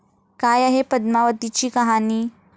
काय आहे पद्मावतीची कहाणी?